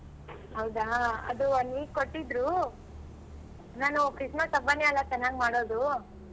ಹೌದಾ ಅದು one week ಕೊಟ್ಟಿದ್ರು ನಾನು Christmas ಹಬ್ಬಾನೇ ಅಲ್ಲ ಚೆನ್ನಾಗ್ ಮಾಡೋದು.